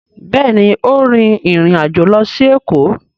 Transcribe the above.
Béèni o rìn ìrin àjọ ló sì Eko.